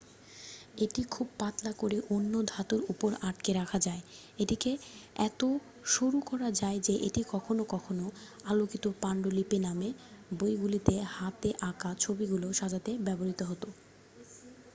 """এটি খুব পাতলা করে অন্য ধাতুর উপর আটকে রাখা যায়। এটিকে এত সরুকরা যায় যে এটি কখনও কখনও "আলোকিত পান্ডুলিপি "নামে বইগুলিতে হাতে আঁকা ছবিগুলি সাজাতে ব্যবহৃত হত।""